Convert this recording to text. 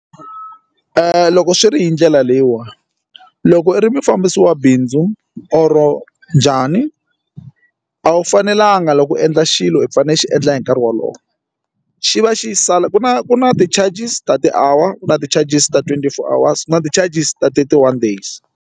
Loko swi ri hi ndlela leyiwani loko i ri mufambisi wa bindzu or njhani a wu fanelanga loko u endla xilo i fanele i xi endla hi nkarhi wolowo xi va xi sala ku na ku na ti-charges ta ti-hour ku na ti-charges ta twenty four hours ku na ti-charges ta thirty one days.